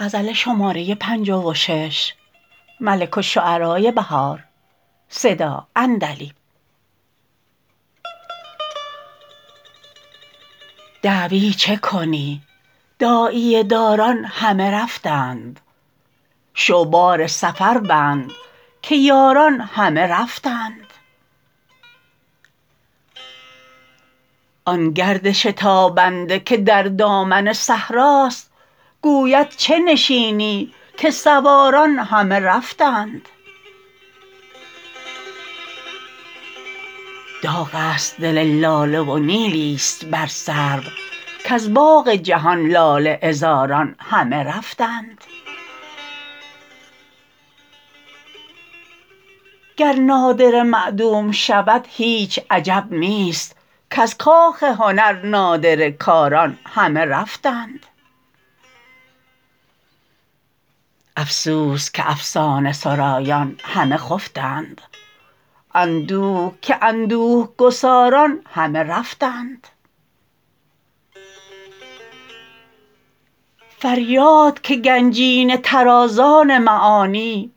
دعوی چه کنی داعیه داران همه رفتند شو بار سفر بند که یاران همه رفتند آن گرد شتابنده که در دامن صحراست گوید چه نشینی که سواران همه رفتند داغ است دل لاله و نیلی است بر سرو کز باغ جهان لاله عذاران همه رفتند گر نادره معدوم شود هیچ عجب نیست کز کاخ هنر نادره کاران همه رفتند افسوس که افسانه سرایان همه خفتند اندوه که اندوه گساران همه رفتند فریاد که گنجینه طرازان معانی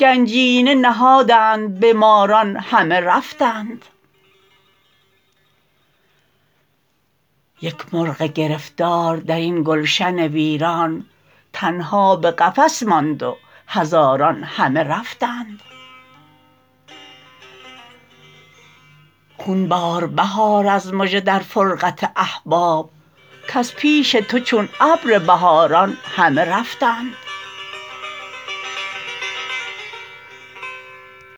گنجینه نهادند به ماران همه رفتند یک مرغ گرفتار در این گلشن ویران تنها به قفس ماند و هزاران همه رفتند خون بار بهار از مژه در فرقت احباب کز پیش تو چون ابر بهاران همه رفتند